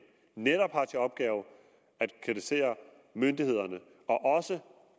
netop har til opgave at kritisere myndighederne og også